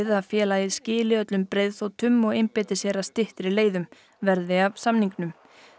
að félagið skili öllum breiðþotum og einbeiti sér að styttri leiðum verði af samningnum